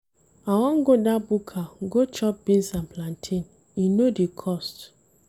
I wan go dat buka go chop beans and plantain, e no dey cost.